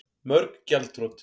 Mörg gjaldþrot